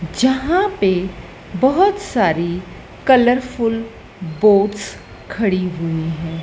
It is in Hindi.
जहां पे बहोत सारी कलरफुल बोट्स खड़ी हुई है।